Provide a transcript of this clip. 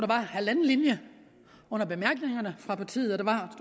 var halvanden linje under bemærkningerne fra partiet og der var